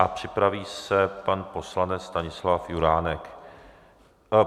A připraví se pan poslanec Stanislav Juránek.